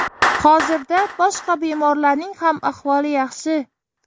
Hozirda boshqa bemorlarning ham ahvoli yaxshi.